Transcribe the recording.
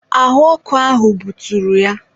ahụ ọkụ ahụ buturu ya.